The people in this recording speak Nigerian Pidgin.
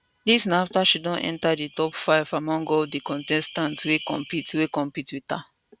dis na afta she enta di top five among all di contestants wey compete wey compete wit her